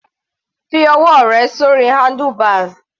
Fi ọwọ́ rẹ sórí handlebars.